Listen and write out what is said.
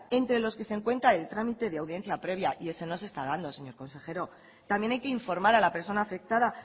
entre los que se encuentra el trámite de audiencia previa y eso no se está dando señor consejero también hay que informar a la persona afectada